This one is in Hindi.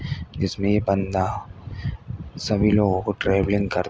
जिसमें ये बंदा सभी लोगों को ट्रेनिंग कर --